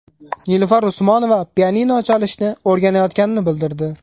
Nilufar Usmonova pianino chalishni o‘rganayotganini bildirdi.